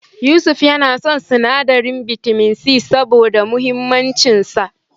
Yusuf yana son sinadarin bitamin C, saboda muhimmancin sa.